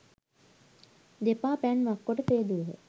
දෙපා පැන් වක්කොට සේදූහ.